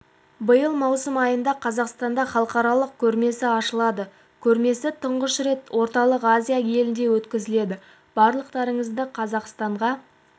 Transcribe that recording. биыл маусым айында қазақстанда халықаралық көрмесі ашылады көрмесі тұңғыш рет орталық азия елінде өткізіледі барлықтарыңызды қазақстанға